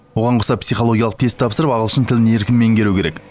оған қоса психологиялық тест тапсырып ағылшын тілін еркін меңгеру керек